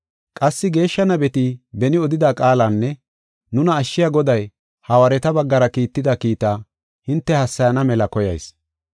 Qassi geeshsha nabeti beni odida qaalanne nuna ashshiya Goday, hawaareta baggara kiitida kiitta hinte hassayana mela koyayis.